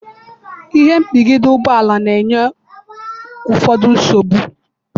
ihe ipigide ugboala na-enye ụfọdụ nsogbu.